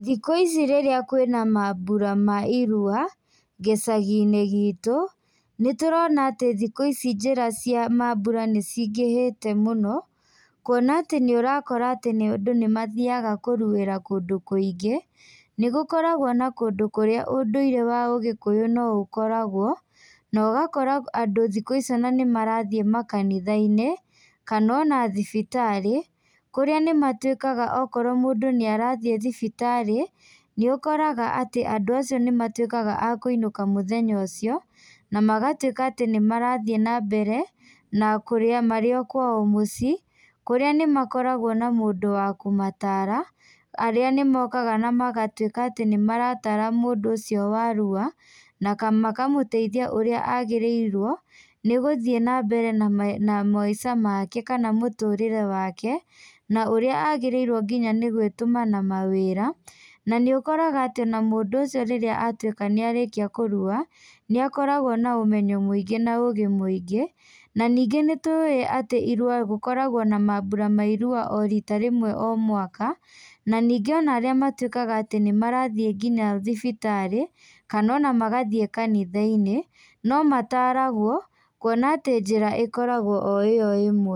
Thikũ ici rĩrĩa kwĩna mambũra ma irua, gĩcaginĩ gitũ, nĩtũrona atĩ thikũ ici njĩra cia mambũra nĩcingĩhĩte mũno, kuona atĩ nĩũrakora atĩ nĩ andũ nĩmathiaga kũruĩra kũndũ kũigĩ, nĩgũkoragwo na kũndũ kũrĩa ũndũire wa ũgĩkũyũ no ũkoragwo, na ũgakora andũ thikũ ici ona nĩmarathiĩ makanithainĩ, kana ona thibitarĩ, kũrĩa nĩmatuĩkaga okorwo mũndũ nĩarathiĩ thibitarĩ, nĩũkoraga atĩ andũ acio nĩmatuĩkaga a kũinũka mũthenya ũcio, na magatuĩka atĩ nĩmarathiĩ nambere, na kũrĩa marĩ o kwao mũciĩ, kũrĩa nĩmakoragwo na mũndũ wa kũmatara, arĩa nĩmokaga na magatuĩka atĩ nĩmaratara mũndũ ũcio wa rua, na makamũteithia ũrĩa agĩrĩirwo, nĩgũthiĩ nambere na ma na maica make, kana mũtũrĩre wake, na ũrĩa agĩrĩirwo nginya nĩgwĩtũma na mawĩra, na nĩũkoraga atĩ ona mũndũ ũcio rĩrĩa atuĩka nĩarĩkia kũrua, nĩakoragwo na ũmenyo mũingĩ na ũgĩ mũinga, na ningĩ nĩtuĩ atĩ irua gũkoragwo na mambura ma irua o rita rĩmwe o mwaka, na ningĩ ona arĩa matuĩkaga atĩ nĩmarathiĩ nginya thibitarĩ, kana ona magathiĩ kanithainĩ, nomataragwo, kuona atĩ njĩra ĩkoragwo o ĩo ĩmwe.